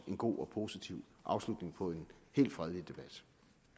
en god og positiv afslutning på en helt fredelig debat